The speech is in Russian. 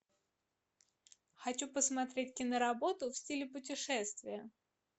хочу посмотреть киноработу в стиле путешествия